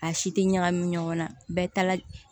A si tɛ ɲagami ɲɔgɔn na bɛɛ taala